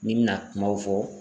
Ni n bi na kumaw fɔ